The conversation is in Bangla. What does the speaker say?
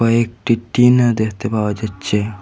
কয়েকটি টিনও দেখতে পাওয়া যাচ্ছে।